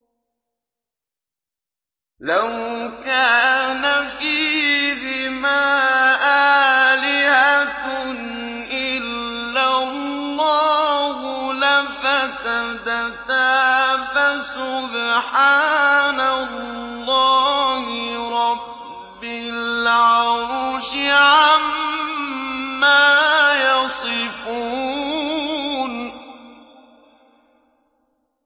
لَوْ كَانَ فِيهِمَا آلِهَةٌ إِلَّا اللَّهُ لَفَسَدَتَا ۚ فَسُبْحَانَ اللَّهِ رَبِّ الْعَرْشِ عَمَّا يَصِفُونَ